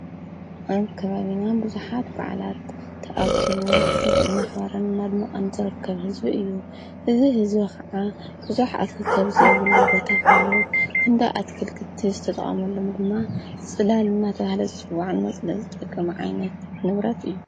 ኣብ ከባቢና ብዙሓት በዓላት ተኣኪቡ ብዙኅ ናኽባረን ማድሚዖን ዘረከብ ሕዝቢ እዩ እዝ ሕዝቢ ኸዓ ብዙኅ ኣትክልቲ ዘይብሉ ቦታ ፈኑ ክንዶ ኣትክል ክቲ ዝተጠሙሎም ድማ ጽዳልና ተብሃለ ጽዋዕን መፅለሊ ዝደቀ መዓይነት ንብረት እዩ።